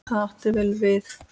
Það átti vel við.